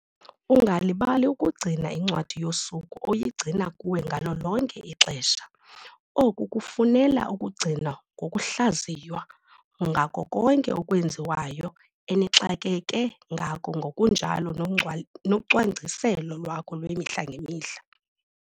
Ungalibali ukugcina incwadi yosuku oyigcina kuwe ngalo lonke ixesha. Oku kufunela ukugcinwa ngokuhlaziywa ngako konke okwenziwayo enixakeke ngako ngokunjalo nocwangciselo lwakho lwemihla ngemihla.